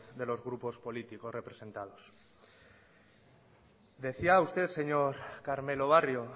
de los grupos políticos representados decía usted señor carmelo barrio